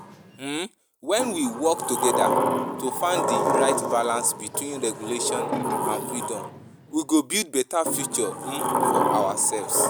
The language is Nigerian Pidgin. um When we work together to find di right balance between regulation and freedom, we go build beta future um for ourselves.